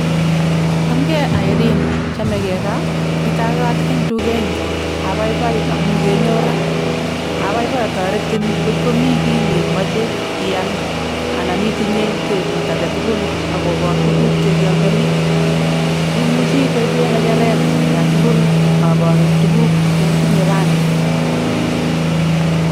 Ngele ii oldoindet. Tos igatitei ono olindet?